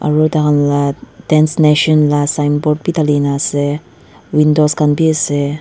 aro takhan la dance nation la signboard bi dhalina ase windows khan biase.